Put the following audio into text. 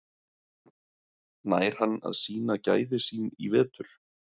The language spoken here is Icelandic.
Nær hann að sýna gæði sín í vetur?